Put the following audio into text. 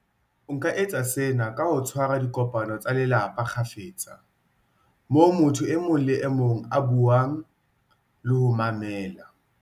O ka etsa sena ka ho tshwa ra dikopano tsa lelapa kgafetsa, moo motho e mong le e mong a buang le ho mamela.